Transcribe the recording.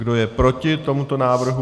Kdo je proti tomuto návrhu?